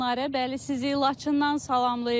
Bəli, sizi Laçından salamlayırıq.